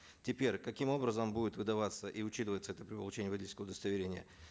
теперь каким образом будет выдаваться и учитываться это получение водительского удостоверения